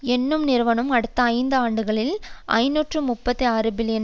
என்னும் நிறுவனம் அடுத்த ஐந்து ஆண்டுகளில் ஐநூற்று முப்பத்தி ஆறு பில்லியன்